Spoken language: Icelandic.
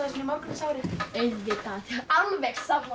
í morgunsárið auðvitað alveg sammála